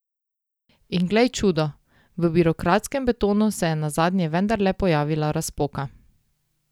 In glej čudo, v birokratskem betonu se je nazadnje vendarle pojavila razpoka.